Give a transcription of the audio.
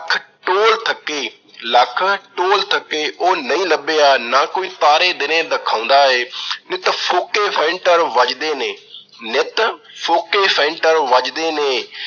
Toll ਥੱਕੇ, ਲੱਖ ਟੋਲ ਥੱਕੇ, ਉਹ ਨਹੀਂ ਲੱਭਿਆ, ਨਾ ਕੋਈ ਤਾਰੇ ਦਿਨੇ ਦਿਖਾਉਂਦਾ ਏ। ਨਿੱਤ ਫੋਕੇ ਫੈਂਟਰ ਵੱਜਦੇ ਨੇ, ਨਿੱਤ ਫੋਕੇ ਫੈਂਟਰ ਵੱਜਦੇ ਨੇ